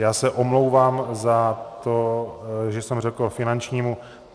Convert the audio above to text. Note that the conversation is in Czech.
Já se omlouvám za to, že jsem řekl finančnímu.